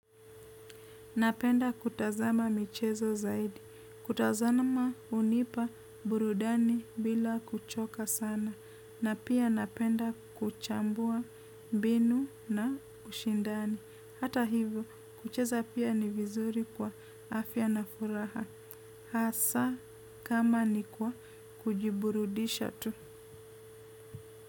Napenda kutazama michezo zaidi. Kutazama unipa burudani bila kuchoka sana. Na pia napenda kuchambua mbinu na ushindani. Hata hivyo, kucheza pia ni vizuri kwa afya na furaha. Hasa kama ni kwa kujiburudisha tu.